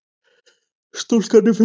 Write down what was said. Stúlkan er fundin